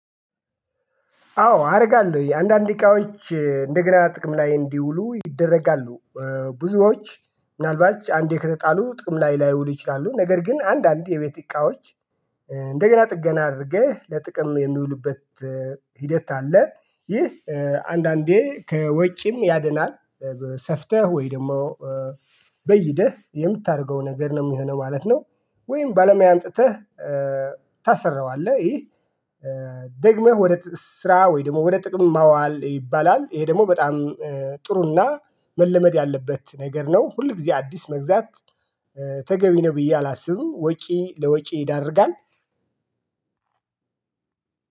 አዎ አደርጋለሁ አንዳንድ እቃዎች እንደገና ጥቅም ላይ እንዲውሉ ይደረጋሉ። ብዙዎች ምናልባት አንዴ ከተጣሉ ጥቅም ላይ ላይውሉ ይችላሉ ነገር ግን አንዳንድ የቤት እቃዎች እንደገና ጥገና አድርገህ ለጥቅም የሚውልበት ሂደት አለ። ይህ አንዳንዴ ከወጪም ያድናል። ሰፍተህ ወይ ደግሞ በይደህ የምታደርገው ነገር ነው የሚሆነው ማለት ነው። ወይም ባለሙያ አምጥተህ ታሰራዋለህ። ይህ ደግመህ ወደ ስራ ወይ ደግሞ ወደ ጥቅም ማዋል ይባላል። ይሄ ደግሞ በጣም ጥሩና መለመድ ያለበት ነገር ነው። ሁል ጊዜ አዲስ መግዛት ተገቢ ነው ብዬ አላስብም ወጪ ለወጪ ይዳርጋል።